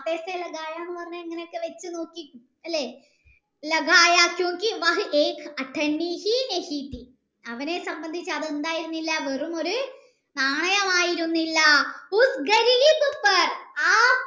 എന്ന് പറഞ്ഞാൽ നോക്കി അല്ലെ അവനെ സംബന്ധിച്ചു അത് വെറുമൊരു നാണയമായിരുന്നില്ല